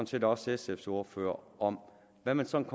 set også sfs ordfører om hvad man sådan